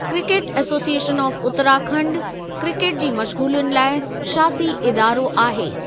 Cricket association of Uttarakhand, cricket जी मश्गूलियुनि लाइ शासी इदारो आहे।